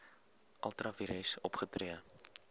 ultra vires opgetree